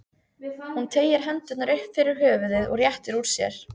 Hún teygir hendurnar upp fyrir höfuðið og réttir úr sér.